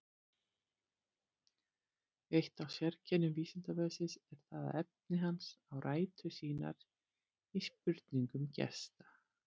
Eitt af sérkennum Vísindavefsins er það að efni hans á rætur sínar í spurningum gesta.